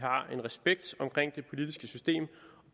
har en respekt omkring det politiske system